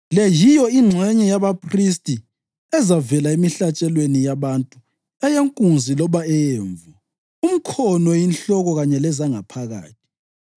Le yiyo ingxenye yabaphristi ezavela emihlatshelweni yabantu eyenkunzi loba eyemvu: umkhono, inhloko kanye lezangaphakathi.